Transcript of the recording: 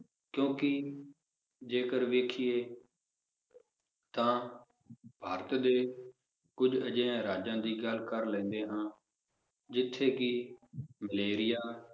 ਕਿਉਂਕਿ, ਜੇਕਰ ਵੇਖੀਏ ਤਾਂ ਭਾਰਤ ਦੇ ਕੁਝ ਅਜਿਹੇ ਰਾਜਾਂ ਦੀ ਗੱਲ ਕਰ ਲੈਂਦੇ ਹਾਂ ਜਿਥੇ ਕਿ ਮਲੇਰੀਆ